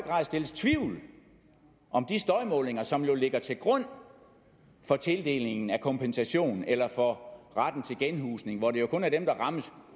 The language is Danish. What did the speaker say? rejses tvivl om de støjmålinger som jo ligger til grund for tildelingen af kompensation eller for retten til genhusning hvor det jo kun er dem der rammes